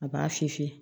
A b'a fiyɛ